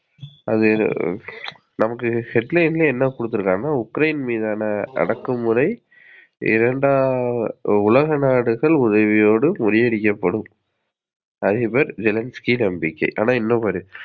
அது நமக்கு headline லையே என்ன குடுத்துருக்காங்க உக்ரேன் மீதான அடக்குமுறை இரண்டாம் உலக நாடுகள் உதவியோடு முறியடிக்கப்படும்.